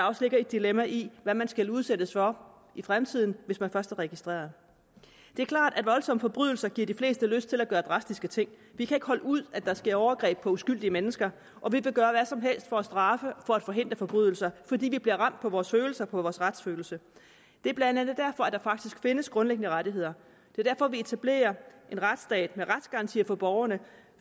også et dilemma i hvad man skal udsættes for i fremtiden hvis man først er registreret det er klart at voldsomme forbrydelser giver de fleste lyst til at gøre drastiske ting vi kan ikke holde ud at der sker overgreb på uskyldige mennesker og vi vil gøre hvad som helst for at straffe og for at forhindre forbrydelser fordi vi bliver ramt på vores følelser og på vores retsfølelse det er blandt andet derfor at der faktisk findes grundlæggende rettigheder det er derfor vi etablerer en retsstat med retsgarantier for borgerne